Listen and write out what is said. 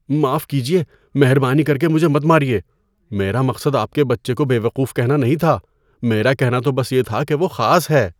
معاف کیجیے، مہربانی کر کے مجھے مت ماریے۔ میرا مقصد آپ کے بچے کو بے وقوف کہنا نہیں تھا۔ میرا کہنا تو بس یہ تھا کہ وہ خاص ہے۔